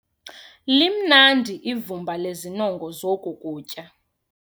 Limnandi ivumba lezinongo zoku kutya.